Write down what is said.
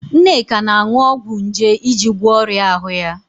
Nneka na-aṅụ ọgwụ nje iji gwọọ ọrịa ahụ ya.